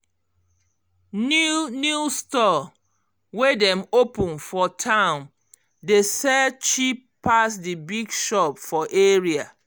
new new store wey dem open for town dey sell cheap pass d big shop for area